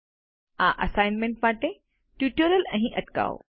આ અસાઇનમેન્ટ માટે ટ્યુટોરીયલ અહીં અટકાવો